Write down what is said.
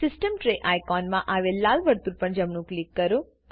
system tray icon માં આવેલ લાલ વર્તુળ પર જમણું ક્લિક કરો